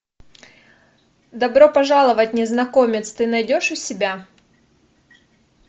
добро пожаловать незнакомец ты найдешь у себя